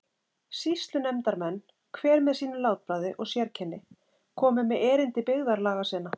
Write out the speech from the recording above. Sýslunefndarmenn, hver með sínu látbragði og sérkenni, komu með erindi byggðarlaga sinna.